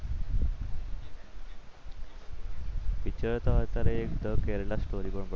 Picture તો અત્યારે Kerala Story પણ પડી છે.